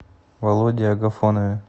володе агафонове